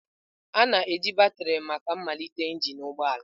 a na-eji batrị maka ịmalite engine ụgbọ ala.